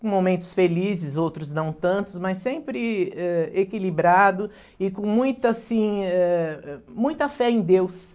Com momentos felizes, outros não tantos, mas sempre, eh, equilibrado e com muita assim, eh, muita fé em Deus.